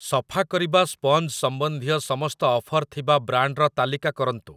ସଫା କରିବା ସ୍ପଞ୍ଜ ସମ୍ବନ୍ଧୀୟ ସମସ୍ତ ଅଫର୍ ଥିବା ବ୍ରାଣ୍ଡ୍‌‌‌ର ତାଲିକା କରନ୍ତୁ ।